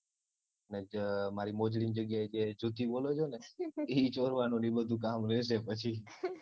ને મારી મોજડી ની જગ્યાએ જે જુતી બોલો છે ને ઈ ચોરવાનું ને ઈ બધું કામ રેશે પછી